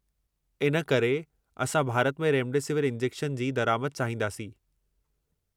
इन करे, असां भारत में रेमडेसिविर इंजेक्शन जी दरिआमद चाहींदासीं।